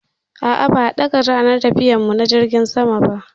A'a, ba a ɗaga ranar tafiyar mu na jirgin sama.